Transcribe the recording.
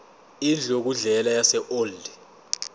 indlu yokudlela yaseold